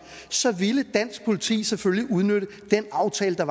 så ville dansk politi selvfølgelig udnytte den aftale der